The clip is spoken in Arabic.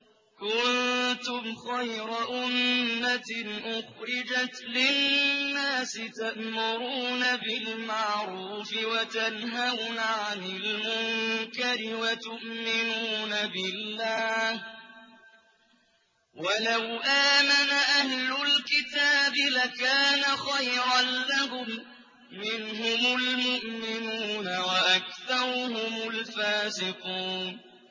كُنتُمْ خَيْرَ أُمَّةٍ أُخْرِجَتْ لِلنَّاسِ تَأْمُرُونَ بِالْمَعْرُوفِ وَتَنْهَوْنَ عَنِ الْمُنكَرِ وَتُؤْمِنُونَ بِاللَّهِ ۗ وَلَوْ آمَنَ أَهْلُ الْكِتَابِ لَكَانَ خَيْرًا لَّهُم ۚ مِّنْهُمُ الْمُؤْمِنُونَ وَأَكْثَرُهُمُ الْفَاسِقُونَ